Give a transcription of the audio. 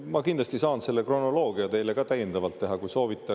Ma kindlasti saan selle kronoloogia teile täiendavalt teha, kui soovite.